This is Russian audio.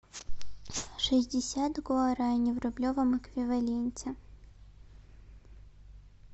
шестьдесят гуарани в рублевом эквиваленте